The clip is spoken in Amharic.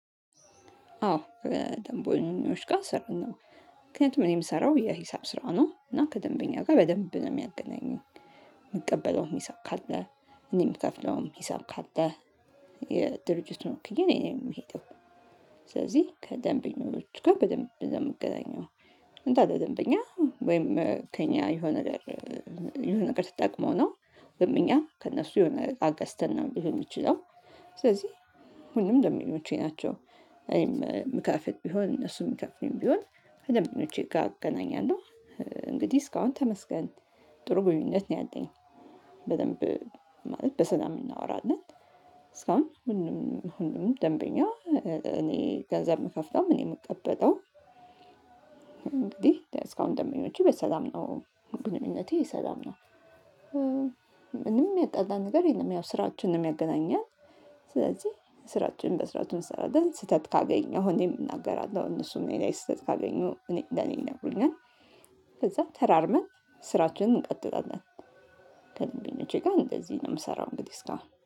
አዎ ከደንበኞች ጋ እሰራለው። ምክንያቱም እኔ የምሰራው የሂሳብ ስራ ነው እና ከደንበኛ ጋ በደንብ ነው የሚያገናኘኝ። ምቀበለውም ሂሳብ ካለ እኔ ምከፍለውም ሂሳብ ካለ ነው የሚሄደው። ስለዚህ ከደንበኞቹ ጋ በደንብ ነው ምገናኘው። እንዳለ ደንበኛ ወይም ከእኛ የሆነ ነገር የሆነ ነገር ስትጠቅመው ነው። ደንበኛ ከእነሱ የሆነ እቃ ገዝተን ነው ሊሆን የሚችለው። ስለዚህ ሁሉም ደምበኞቼ ናቸው። እኔም መካፈል ቢሆን እነሱም መካፈልን ቢሆን ከደምበኞቼ ጋ እገናኛለው። እንግዲህ እስካሁን ተመስገን ጥሩ ግንኙነት ነው ያለኝ። በደንብ ማለት በሰላም እናወራለን። እስካሁን ሁሉም ሁሉም ደንበኛ እኔ ገንዘብ የምከፍተውም እኔ የምቀበጠው። እንግዲህ እስካሁን ደምበኞቹ በሰላም ነው ግንኙነቴ ሰላም ነው። ምንም የሚጣላን ነገር የለም ያው ስራችን ነው የሚያገናኘን። ስለዚህ ስራችንን በስርዓት እንሰራለን ስህተት ካገኘሁምን እናገራለሁ እነሱም እኔ ላይ ስህተት ካገኙ እኔ ለኔ ይነግሩኛል። ከዛ ተራርመን ስራችንን እንቀጥላለን። ከደንበኞቼ ጋ እንደዚህ ነው ምሰራው እንግዲህ እስካሁን